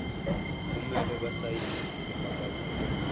kumele basayine isifakazelo